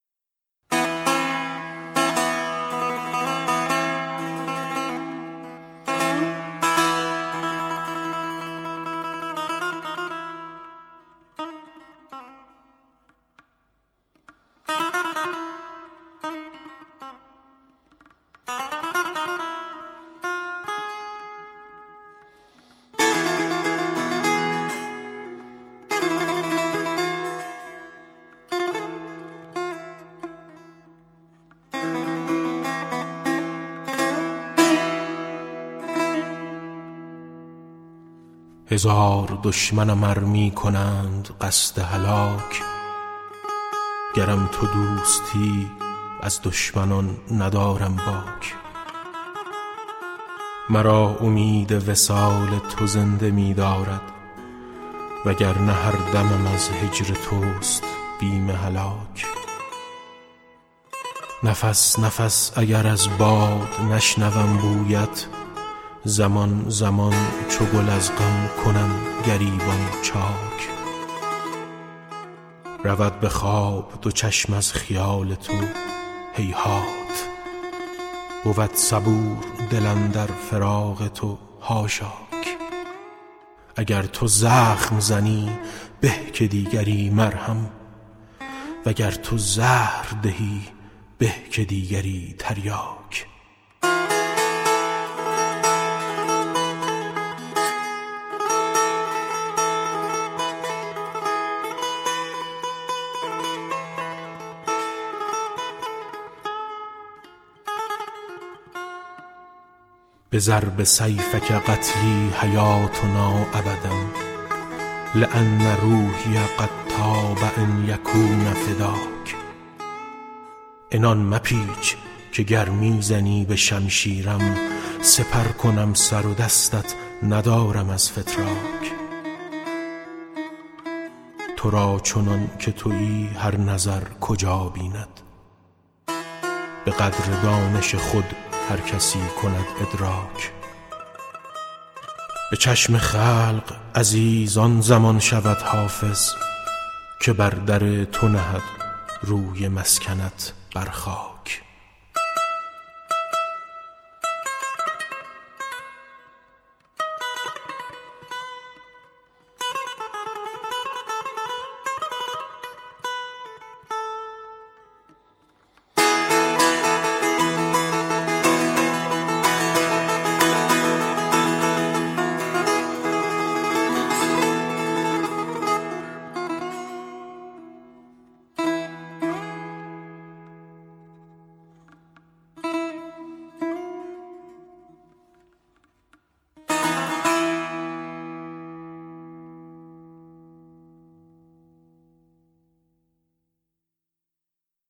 هزار دشمنم ار می کنند قصد هلاک گرم تو دوستی از دشمنان ندارم باک مرا امید وصال تو زنده می دارد و گر نه هر دمم از هجر توست بیم هلاک نفس نفس اگر از باد نشنوم بویش زمان زمان چو گل از غم کنم گریبان چاک رود به خواب دو چشم از خیال تو هیهات بود صبور دل اندر فراق تو حاشاک اگر تو زخم زنی به که دیگری مرهم و گر تو زهر دهی به که دیگری تریاک بضرب سیفک قتلی حیاتنا ابدا لأن روحی قد طاب ان یکون فداک عنان مپیچ که گر می زنی به شمشیرم سپر کنم سر و دستت ندارم از فتراک تو را چنان که تویی هر نظر کجا بیند به قدر دانش خود هر کسی کند ادراک به چشم خلق عزیز جهان شود حافظ که بر در تو نهد روی مسکنت بر خاک